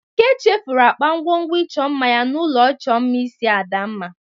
Eke chefuru akpa ngwongwo ịchọ mma ya n'ụlọ ịchọ mma isi Adamma.